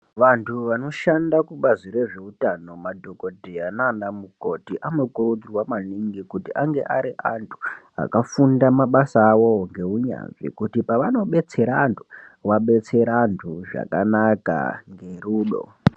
Vantu vanoshanda kubazi rezveutano madhogodheya naana mukoti anokurudzirwa maningi kuti ange ari antu akafunda mabasa avowo ngeunyanzvi kuti paanobetsera antu, vabetsere antu zvakanaka nerudo.